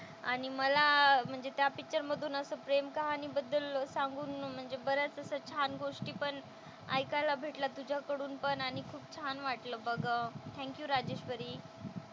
आणि मला म्हणजे त्या पिक्चर मधून असं प्रेम कहाणीबद्दल सांगून म्हणजे बऱ्याच अशा छान गोष्टीपण ऐकायला भेटल्या तुझ्याकडून पण आणि खूप छान वाटलं बघ. Thank you Rajeshwari.